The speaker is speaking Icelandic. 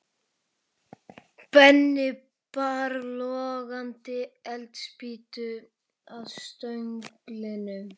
Benni bar logandi eldspýtu að stönglinum.